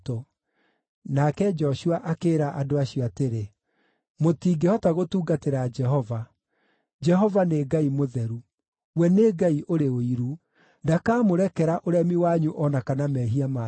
Nake Joshua akĩĩra andũ acio atĩrĩ, “Mũtingĩhota gũtungatĩra Jehova. Jehova nĩ Ngai Mũtheru; we nĩ Ngai ũrĩ ũiru. Ndakamũrekera ũremi wanyu o na kana mehia manyu.